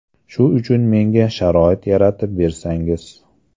Shu uchun menga sharoit yaratib bersangiz.